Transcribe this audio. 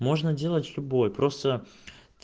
можно делать любой просто